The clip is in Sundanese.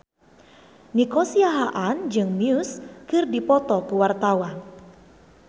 Nico Siahaan jeung Muse keur dipoto ku wartawan